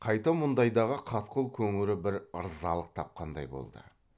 қайта мұндайдағы қатқыл көңілі бір ырзалық тапқандай болды